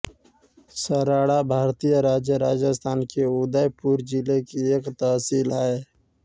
सराड़ा भारतीय राज्य राजस्थान के उदयपुर जिले की एक तहसील है